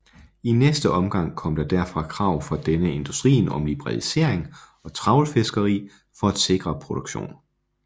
I næste omgang kom der derfor krav fra denne industrien om liberalisering og trawlfiskeri for at sikre produktionen